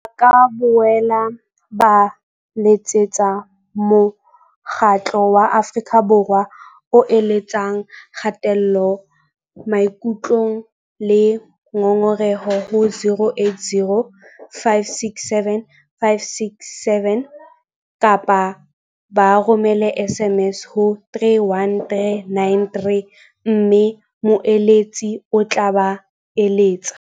Ba ka boela ba letsetsa Mokgatlo wa Afrika Borwa o eletsang ka Kgatello Maikutlong le Ngongoreho, ho 0800 567 567 kapa ba romela SMS ho 31393 mme moeletsi o tla ba letsetsa.